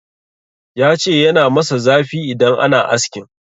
Ya ce yana masa zafi idan ana askin.